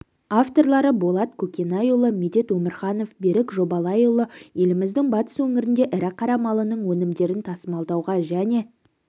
авторлары болат көкенайұлы медет өмірханов берік жобалайұлы еліміздің батыс өңірінде ірі қара малының өнімдерін тасымалдауға және